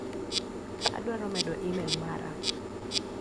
Adwaro medo imel mara.